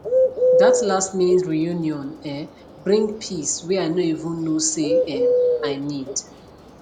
that lastminute reunion um bring peace wey i no even know say um i need